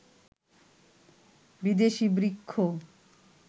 বিদেশি বৃক্ষ